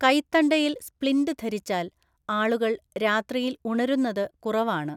കൈത്തണ്ടയിൽ splint ധരിച്ചാൽ ആളുകൾ രാത്രിയിൽ ഉണരുന്നത് കുറവാണ്.